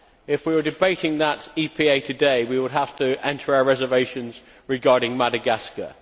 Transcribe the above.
If we were debating that EPA today, we would have to enter our reservations regarding Madagascar.